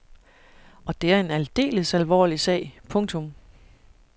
Og det er en aldeles alvorlig sag. punktum